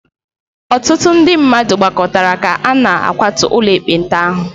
Ọtụtụ ndị mmadụ gbakọtara ka a na-akwatu ụlọ ekpenta ahụ.